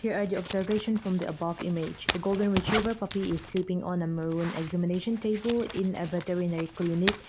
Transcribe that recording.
are the observation from the above image a golden retriever puppy is sleeping on a maroon examination table in a veterinary clinic.